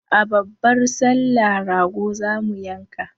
A babbar sallah rago zamu yanka